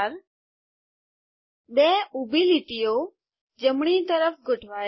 2 ઊભી લીટીઓ જમણી તરફ ગોઠવાયેલ